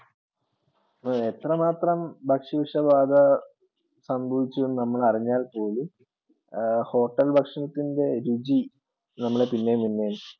അതെ എത്രമാത്രം ഭക്ഷ്യ വിഷബാധ സംഭവിച്ചു എന്ന് നമ്മൾ അറിഞ്ഞാൽ പോലും hotel ഭക്ഷണത്തിൻ്റെ രുചി നമ്മളെ പിന്നെയും പിന്നെയും